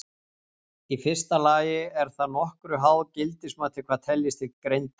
Í fyrsta lagi er það að nokkru háð gildismati hvað teljist til greindar.